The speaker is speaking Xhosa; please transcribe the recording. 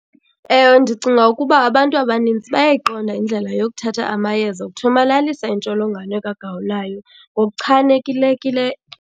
Ewe, ndicinga ukuba abantu abanintsi bayayiqonda indlela yokuthatha amayeza okuthomalalisa intsholongwane kagawulayo ngokuchanekileyo.